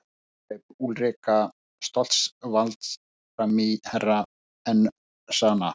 Hér greip Úlrika Stoltzenwald framí fyrir Herra Enzana.